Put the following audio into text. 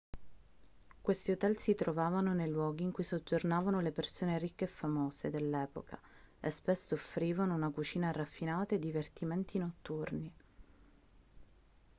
questi hotel si trovavano nei luoghi in cui soggiornavano le persone ricche e famose dell'epoca e spesso offrivano una cucina raffinata e divertimenti notturni